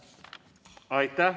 Aitäh!